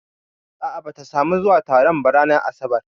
A'a bata samu zuwa taron ba ranar asabar